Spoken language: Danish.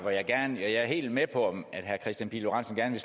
jeg er helt med på at herre kristian pihl lorentzen gerne